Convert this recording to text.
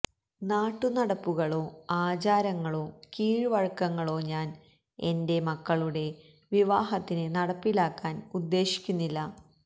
നാട്ടു നടപ്പുകളോ ആചാരങ്ങളോ കീഴ് വഴക്കങ്ങളോ ഞാന് എന്റെ മക്കളുടെ വിവാഹത്തിന് നടപ്പിലാക്കാന് ഉദ്ദേശിക്കുന്നില്ല